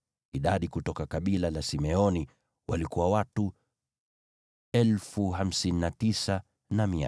Idadi kutoka kabila la Simeoni walikuwa watu 59,300.